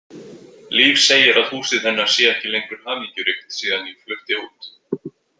Líf segir að húsið hennar sé ekki lengur hamingjuríkt síðan ég flutti út.